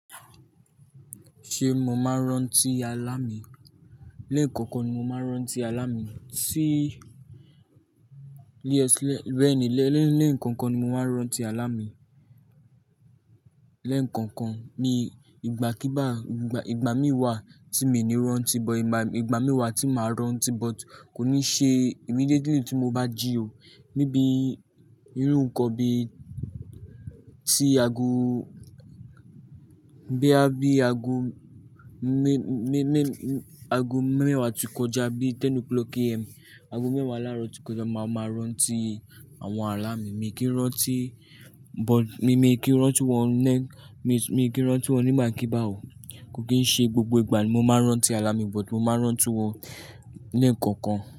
Ṣé mo máa rán tí alá mì? Lẹ́ẹ̀ kọ̀kan ni mo máa rán tí alá mì ti lẹ́ẹ̀ kọ̀kan ni mo máa rán tí alámì. Lẹ́ẹ̀ kọ̀kan ni, ìgbàkígbà, ìgbà míi wà tí mi ò ní rán tí, but ìgbà mí wà tí màá rán tí, but kò ní ṣe immediately tí mo bá jí ò. Nibí irú nǹkan bí i tí aago, bo ya bí aago mẹ́wàá tí kọjá, bí i aago mẹ́wàá láàárọ̀, aago mẹ́wàá láárọ̀ tí kọjá, màá máa rán tí àwọn alá mì. Mi i kì í rán tí, but mi kì í rán tí wọn lẹ́, mi kì í rán tí wọn ní ìgbàkígbà o. Kò kì í ṣe gbogbo ìgbà ni mo máa rán tí alámì, but mo máa rán tí wọn lẹ́ẹ̀ kọ̀kan.